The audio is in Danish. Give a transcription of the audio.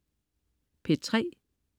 P3: